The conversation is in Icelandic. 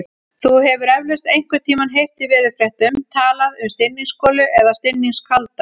Þú hefur eflaust einhvern tímann heyrt í veðurfréttum talað um stinningsgolu eða stinningskalda.